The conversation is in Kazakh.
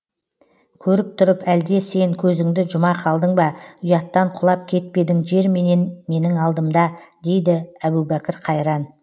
көріп тұрып әлде сен көзіңді жұма қалдың ба ұяттан құлап кетпедің жер менен менің алдымда дейді әбубәкір қайран